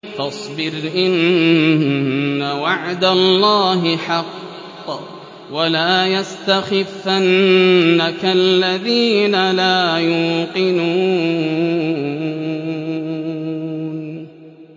فَاصْبِرْ إِنَّ وَعْدَ اللَّهِ حَقٌّ ۖ وَلَا يَسْتَخِفَّنَّكَ الَّذِينَ لَا يُوقِنُونَ